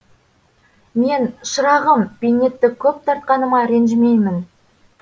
мен шырағым бейнетті көп тартқаныма ренжімеймін